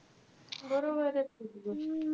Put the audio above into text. बरोबरचे कि ती गोष्ट.